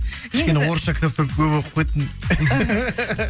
кішкене орысша кітаптар көп оқып кеттім